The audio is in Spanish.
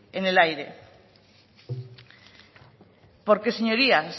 en el aire porque señorías